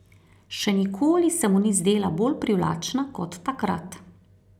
Še nikoli se mu ni zdela bolj privlačna kot takrat.